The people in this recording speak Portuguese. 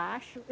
Acho.